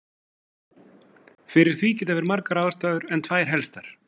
Fyrir því geta verið margar ástæður en tvær helstar.